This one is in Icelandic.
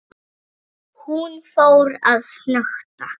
Hún fór að snökta.